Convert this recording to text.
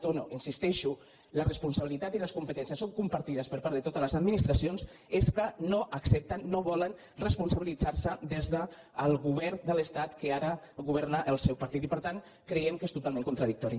dono hi insistei·xo la responsabilitat i les competències són compar·tides per part de totes les administracions és que no accepten no volen responsabilitzar·se des del govern de l’estat que ara governa el seu partit i per tant cre·iem que és totalment contradictori